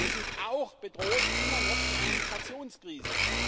Wir sind auch bedroht immer noch von einer Migrationskrise.